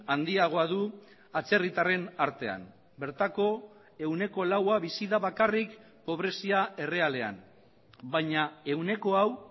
handiagoa du atzerritarren artean bertako ehuneko laua bizi da bakarrik pobrezia errealean baina ehuneko hau